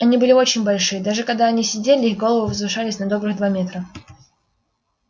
они были очень большие даже когда они сидели их головы возвышались на добрых два метра